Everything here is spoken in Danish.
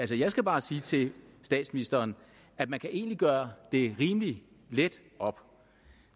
vil jeg skal bare sige til statsministeren at man egentlig kan gøre det rimelig let op